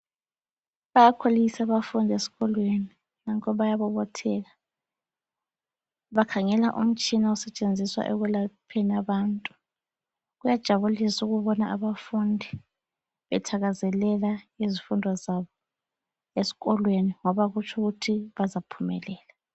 Bayakholisa abafundi esikolweni nanko bayabobotheka, bakhangela umtshina osetshenziswa ekulapheni abantu kuyajabulisa ukubona abafundi bethakazelela izifundo zabo esikolweni ngoba kutsho ukuthi bazaphumemelela.